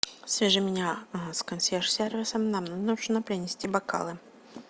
свяжи меня с консьерж сервисом нам нужно принести бокалы